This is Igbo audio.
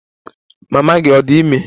Mama gị ọ̀ dị ime?